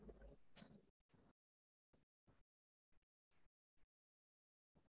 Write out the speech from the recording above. எனக்கு cartoon design லதா actual ஆ four to five KG ல